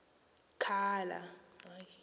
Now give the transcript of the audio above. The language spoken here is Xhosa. khala